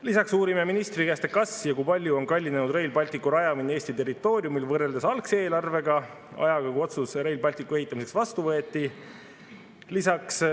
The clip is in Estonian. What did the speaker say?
Lisaks uurime ministri käest, kas ja kui palju on kallinenud Rail Balticu rajamine Eesti territooriumil võrreldes algse eelarvega ja ajaga, kui otsus Rail Balticu ehitamiseks vastu võeti.